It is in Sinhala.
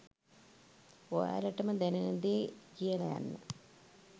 ඔයාලටම දැනෙන දේ කියල යන්න.